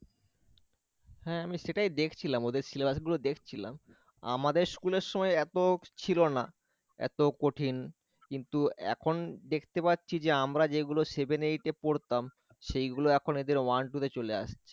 হ্যাঁ আমি সেটাই দেখছিলাম ওদের Syllabus গুলো দেখছিলাম আমাদের school এর সময় এত ছিল না এত কঠিন কিন্তু এখন দেখতে পাচ্ছি যে আমরা যেগুলো seven eight এ পড়তাম সেইগুলো এখন এদের one two তে চলে আসছে